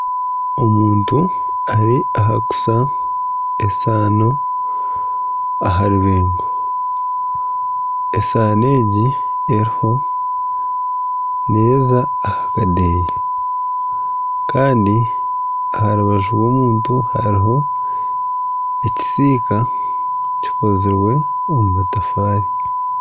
Omuntu ari aha kuusa esaano aha rubeengo, esaano egi eriho neeza aha kadeeya kandi aha rubaju rw'omuntu hariho ekisiika kikozirwe omu matafaari.